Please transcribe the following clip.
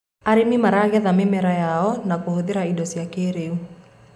arĩmi maragetha mĩmera yao na kuhuthira indo cia kĩiriu